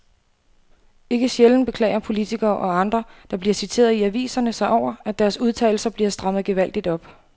Ikke sjældent beklager politikere og andre, der bliver citeret i aviserne sig over, at deres udtalelser bliver strammet gevaldigt op.